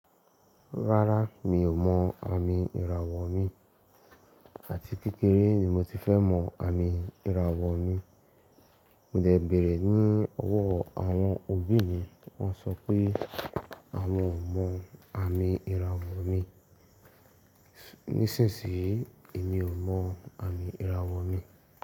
Rárá, mi ò mọ àmì ìràwọ̀ mi àti kékeré ni mo ti fẹ́ mọ àmì ìràwọ̀ mi. Mọ dẹ̀ bẹ̀rẹ̀ ní ọwọ́ àwọn òbí mi, wọ́n sọ pé à won ọ mọ àmì ìràwọ̀ mi. Nísìnsìnyí, èmi ò mọ àmì ìràwọ̀ mi.